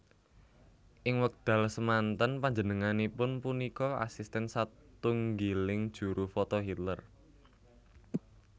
Ing wekdal semanten panjenangipun punika asisten satunggiling juru foto Hitler